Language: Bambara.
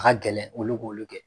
Ka gɛlɛn olu k'olu kɛ.